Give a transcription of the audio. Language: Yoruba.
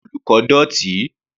Yàrá àwọn olùkọ́ dọ̀tí.